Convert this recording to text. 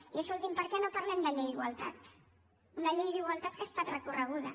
i escolti’m per què no parlem de llei d’igualtat una llei d’igualtat que ha estat recorreguda